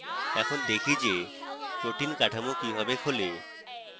এখন দেখি যে protein কাঠামো কিভাবে খোলে